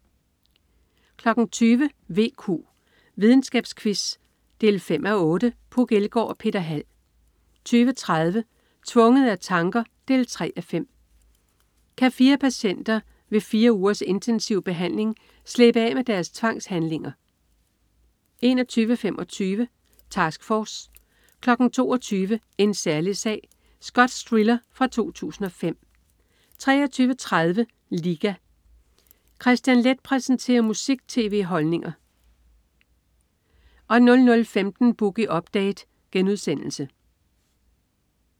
20.00 VQ. Videnskabsquiz 5:8. Puk Elgård og Peter Hald 20.30 Tvunget af tanker 3:5. Kan fire patienter ved fire ugers intensiv behandling slippe af med deres tvangshandlinger? 21.25 Task Force 22.00 En særlig sag. Skotsk thriller fra 2005 23.30 Liga. Kristian Leth præsenterer musik-tv med holdninger 00.15 Boogie Update*